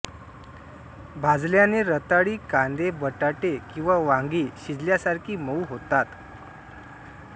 भाजल्याने रताळी कांदे बटाटे किंवा वांगी शिजल्यासारखी मऊ होतात